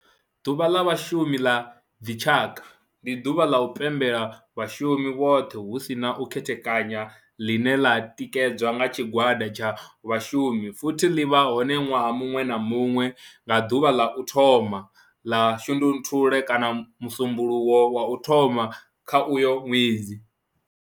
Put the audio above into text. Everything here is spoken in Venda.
Ḓuvha ḽa Vhashumi ḽa dzi tshaka, ndi duvha la u pembela vhashumi vhothe hu si na u khethekanya ḽine ḽi tikedzwa nga tshigwada tsha vhashumi futhi li vha hone nwaha muṅwe na muṅwe nga duvha la u thoma 1 ḽa Shundunthule kana musumbulowo wa u thoma kha uyo ṅwedzi.